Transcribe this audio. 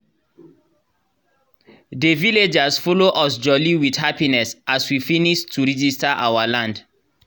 dey villagers follow us jolly with happiness as we finis to regista our land